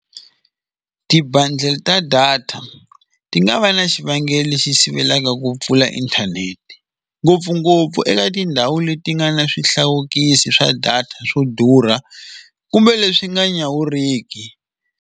Ti-bundle ta data ti nga va na xivangelo lexi sivelaka ku pfula inthanete ngopfungopfu eka tindhawu leti nga na swihlawulekisi swa data swo durha kumbe leswi nga nyawuriki.